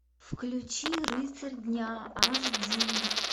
включи рыцарь дня аш ди